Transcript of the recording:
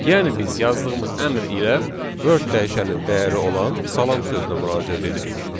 Yəni biz yazdığımız əmr ilə word dəyişəninin dəyəri olan salam sözünə müraciət edirik.